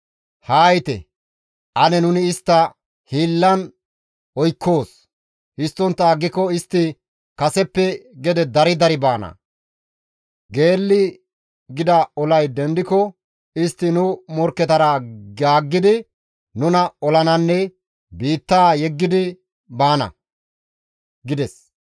Haa yiite, ane nuni istta hiillan oykkoos; histtontta aggiko istti kaseppe gede dari dari baana. Geelli gida olay dendiko istti nu morkketara gaaggidi nuna olananne biittaa yeggidi baana» gides.